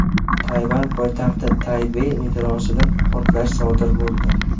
Tayvan poytaxti Taybey metrosida portlash sodir bo‘ldi.